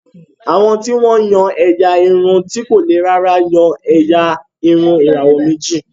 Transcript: Àwọn tí wọ́n yan ẹ̀yà irun ti kò le rárá yan ẹ̀yà irun ìràwọ̀ méjì